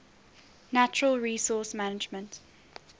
natural resource management